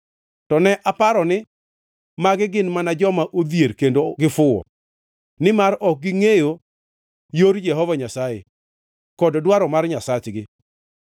To ne aparo ni, “Magi gin mana joma odhier; kendo gifuwo; nimar ok gingʼeyo yor Jehova Nyasaye kod dwaro mar Nyasachgi.